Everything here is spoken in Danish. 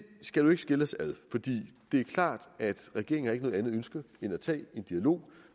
skal nu ikke skille os ad fordi det er klart at regeringen ikke har noget andet ønske end at tage en dialog